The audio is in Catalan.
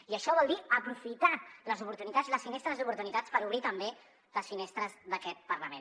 i això vol dir aprofitar les oportunitats les finestres d’oportunitats per obrir també les finestres d’aquest parlament